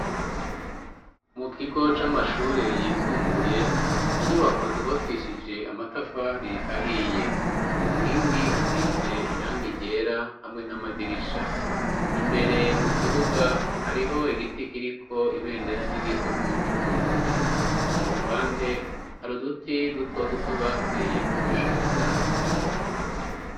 Mu kigo c'amashure yisumbuye, inyubako zubakishije amatafari ahiye. Ku nkingi hasize irangi ryera hamwe n'amadirisha. Imbere mu kibuga, hariho igiti kiriko ibendera ry'igihugu c'Uburundi. Ku ruhande hari uduti dutoduto bateye two gushariza ikigo.